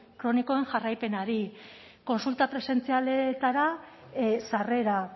kronikoen jarraipenari kontsulta presentzialetara sarrera